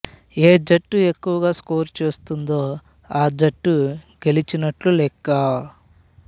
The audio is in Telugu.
ఏ జట్టు ఎక్కువగా స్కోరు చేస్తుందో ఆ జట్టు గెలిచినట్లు లెక్క